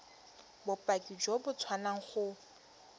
bopaki jo bo tswang go